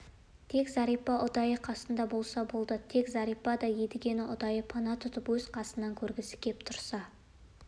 тек зәрипа ұдайы қасында болса болды тек зәрипа да едігені ұдайы пана тұтып өз қасынан көргісі кеп тұрса